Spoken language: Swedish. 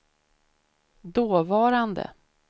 dåvarande